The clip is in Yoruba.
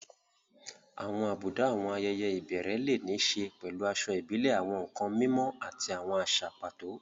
Àwọn àbùdá àwọn ayẹyẹ ìbẹ̀rẹ̀ lè ní í ṣe pẹ̀lú aṣọ ìbílẹ̀, àwọn nkan mímọ́, àti àwọn àṣà pàtó.